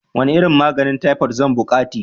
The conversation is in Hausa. Wane nau'in maganin taifot zan buƙati?